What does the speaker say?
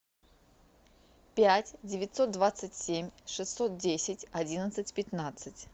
пять девятьсот двадцать семь шестьсот десять одиннадцать пятнадцать